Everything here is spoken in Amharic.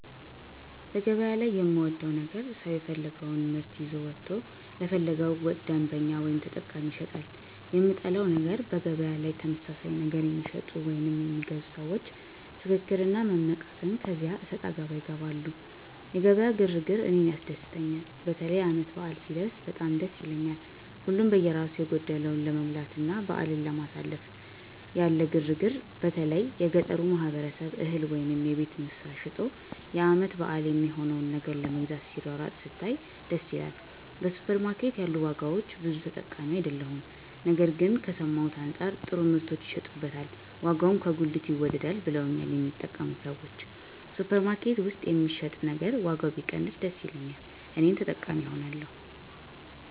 በገበያ ላይ የምወደው ነገር ሰው የፈለገወን ምርት ይዞ ወጥቶ ለፈለገው ደንበኛ ወይም ተጠቃሚ ይሸጣል። የምጠላው ነገር በገበያ ላይ ተመሳሳይ ነገር የሚሸጡ ወይም የሚገዙ ሰዎች ፍክክር እና መመቃቀን ከዚያ አሰጣገባ ይገባሉ። የገበያ ግር ግር እኔን ያስደስተኛል። በተለይ ዓመት በዓል ሲደረስ በጣም ደስ ይላል። ሀሉም በየራሱ የጎደለውን ለመሙላትና በዓልን ለማሳለፍ ያለ ግር ግር በተለይ የገጠሩ ማህበረሰብ እህል ወይም የቤት እንስሳት ሸጦ የዓመት በዓል የሚሆነውን ነገር ለመግዛት ሲሯሯጥ ስታይ ደስ ይላል። በሱፐር ማርኬት ያሉ ዋጋዎች ብዙም ተጠቃሚ አይደለሁም ግን ከሰማሁት አንጻር ጥሩ ምርቶች ይሸጡበታል ዋጋውም ከጉሊት ይወደዳል ብለውኛል የሚጠቀሙ ሰዎች። ሱፐር ማርኬት ውስጥ የሚሸጥ ነገር ዋጋው ቢቀንስ ደስ ይለኛል እኔም ተጠቃሚ እሆናለሁ።